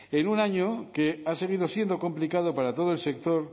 en un año que ha seguido siendo complicado para todo el sector